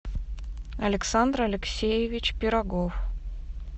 александр алексеевич пирогов